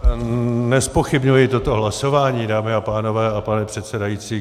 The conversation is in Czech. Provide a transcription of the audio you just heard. Nezpochybňuji toto hlasování, dámy a pánové a pane předsedající.